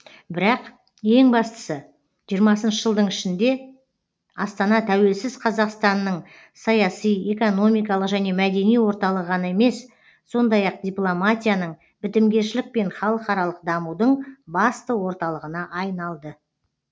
бірақ ең бастысы жиырмасыншы жылдың ішінде астана тәуелсіз қазақстанның саяси экономикалық және мәдени орталығы ғана емес сондай ақ дипломатияның бітімгершілік пен халықаралық дамудың басты орталығына айналды